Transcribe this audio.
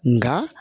Nga